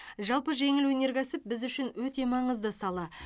жалпы жеңіл өнеркәсіп біз үшін өте маңызды сала